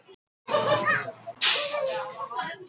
Það verður sett trygging fyrir hverjum eyri.